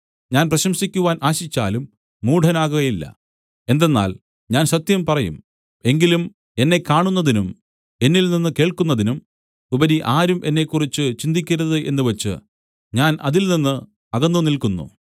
ഞാൻ പ്രശംസിക്കുവാൻ ആശിച്ചാലും മൂഢനാകയില്ല എന്തെന്നാൽ ഞാൻ സത്യം പറയും എങ്കിലും എന്നെ കാണുന്നതിനും എന്നിൽനിന്ന് കേൾക്കുന്നതിനും ഉപരി ആരും എന്നെക്കുറിച്ച് ചിന്തിക്കരുത് എന്നുവച്ച് ഞാൻ അതിൽനിന്ന് അകന്നുനിൽക്കുന്നു